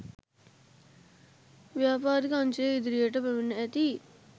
ව්‍යාපාරික අංශයේ ඉදිරියට පැමිණ ඇති